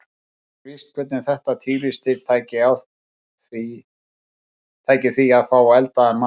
Ekki er víst hvernig þetta tígrisdýr tæki því að fá eldaðan mat.